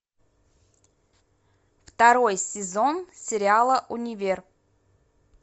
второй сезон сериала универ